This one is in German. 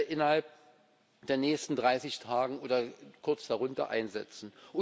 innerhalb der nächsten 30 Tage oder kurz darunter einsetzen.